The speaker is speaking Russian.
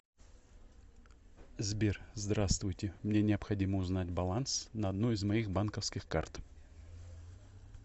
сбер здравствуйте мне необходимо узнать баланс на одной из моих банковских карт